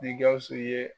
Ni gawusu ye